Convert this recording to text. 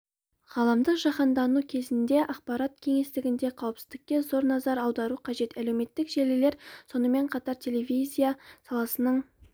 ғаламдық жаһандану кезеңінде ақпарат кеңістігіндегі қауіпсіздікке зор назар аудару қажет әлеуметтік желілер сонымен қатар телевизия саласының